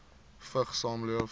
vigs saamleef